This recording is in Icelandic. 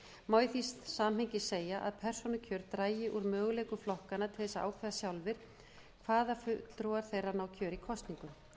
má í því samhengi segja að persónukjör dragi úr þeim möguleikum flokkanna til að ákveða sjálfir hvaða fulltrúar þeirra ná kjöri í kosningum